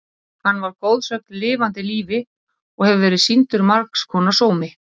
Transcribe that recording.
Hann var goðsögn í lifanda lífi og hefur verið sýndur margs konar sómi.